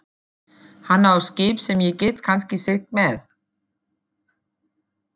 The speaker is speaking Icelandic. Hann á skip sem ég get kannski siglt með.